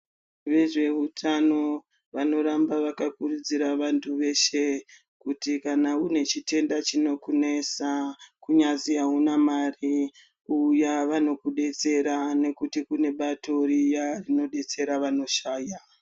Ve zveutano vano ramba vaka kurudzira vantu veshe kuti kana une chitenda chinoku nesa kunyazi auna mari uya vanoku detsera nekuti kune bato riya rino detsera vano shaya.